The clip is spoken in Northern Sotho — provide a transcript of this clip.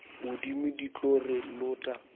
modimo di tlo re lota